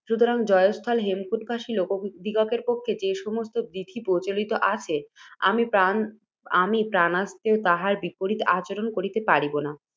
সুতরাং জয়স্থলে, হেমকূটবাসী লোকদিগের পক্ষে যে সমস্ত বিধি প্রচলিত আছে, আমি প্রাণান্তেও তাঁহার বিপরীত আচরণ করিতে পারিব না।